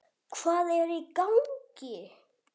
HVAÐ ER Í GANGI??